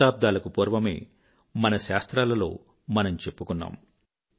శతాబ్దాలకు పూర్వమే మన శాస్త్రాలలో మనము చెప్పుకున్నాము